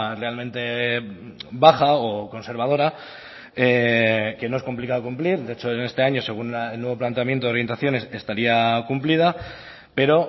realmente baja o conservadora que no es complicado cumplir de hecho en este año según el nuevo planteamiento de orientaciones estaría cumplida pero